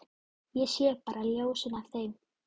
Ég sé bara ljósin af þeim.